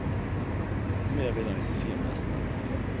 Mer vil han ikke si om gjestene.